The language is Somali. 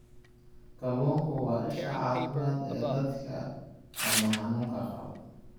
Kalluunku waa isha caafimaad ee dadka wadne xanuunka qaba.